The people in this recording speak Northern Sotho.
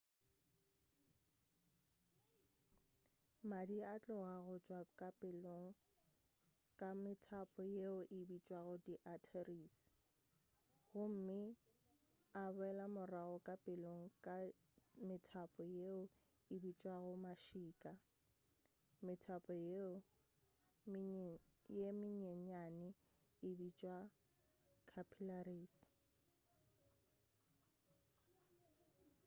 madi a tloga go tšwa ka pelong ka metapo yeo e bitšwago di arteries gomme a boela morago ka pelong ka metapo yeo e bitšwago mašika metapo ye mennyanenyane e bitšwa capillaries